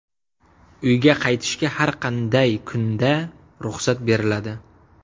Uyga qaytishga har qanday kunda ruxsat beriladi.